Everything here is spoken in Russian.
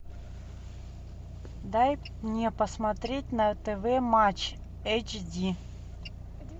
дай мне посмотреть на тв матч эйч ди